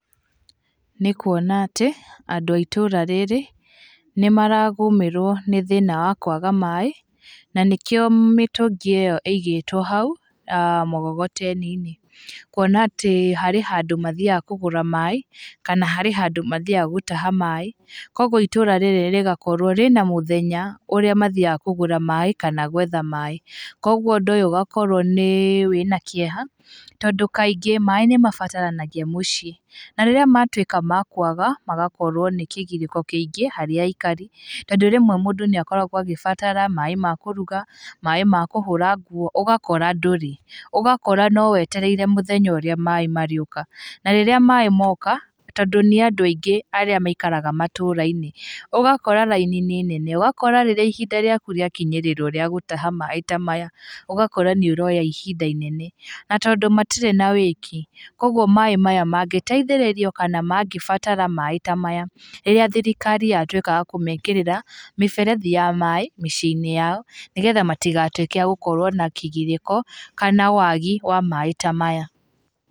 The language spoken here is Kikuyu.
Nĩ kuona atĩ andũ aitũra rĩrĩ, nĩ maragũmĩrwo nĩ thĩna wa kwaga maĩ, na nĩkĩo mĩtũngi ĩyo ĩigĩtwo hau, mũgogoteni-inĩ, kuona atĩ harĩ handũ mathiaga kũgũra maĩ, kana harĩ handũ mathiaga gũtaha maĩ, koguo itũra rĩrĩ rĩgakorwo rĩna mũthenya ũrĩa mathiaga kũgũra maĩ kana gwetha maĩ, koguo ũndũ ũyũ ũgakorwo nĩ wĩna kĩeha, tondũ kaingĩ maĩ nĩmabataranagia mũciĩ, na rĩrĩa matuĩka ma kwaga, magakorwo nĩ kĩgirĩko kĩingĩ harĩ aciari, tondũ rĩmwe mũndũ nĩ akoragwo agĩbatara maĩ ma kũruga, maĩ ma kũhũra nguo, ũgakora ndũrĩ, ũgakora no wetereire mũthenya ũrĩa maĩ marĩũka, na rĩrĩa maĩ moka, tondũ nĩ andũ aingĩ arĩa maikaraga matũra-inĩ, ũgakora raini nĩ nene, ũgakora rĩrĩa ihinda rĩaku rĩakinyĩrĩrwo rĩa gũtaha maĩ ta maya, ũgakora nĩ ũroya ihinda inene, na tondũ matirĩ na wĩki, koguo maĩ maya mangĩteithĩrĩrio kana manĩbatara maĩ ta maya, rĩrĩa thirikari yatuĩka wa kũmekĩrĩra mĩberethi ya maĩ mĩciĩ-inĩ yao, nĩgetha matigatuĩke a gũkorwo na kĩgirĩko kana wagi wa maĩ ta maya.